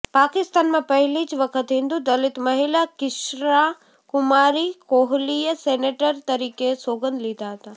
પાકિસ્તાનમાં પહેલી જ વખત હિન્દુ દલિત મહિલા ક્રિશ્ના કુમારી કોહલીએ સેનેટર તરીકે સોગંદ લીધા હતા